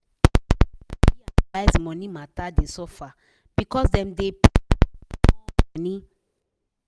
person wey sabi analyze money matter dey suffer because dem dey pay ahm small money.